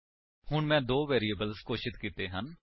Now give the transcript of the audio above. ਹੁਣ ਮੈਂ ਦੋ ਵੇਰਿਏਬਲਸ ਘੋਸ਼ਿਤ ਕੀਤੇ ਹਨ